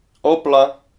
Opla!